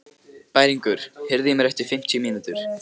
Bæringur, heyrðu í mér eftir fimmtíu mínútur.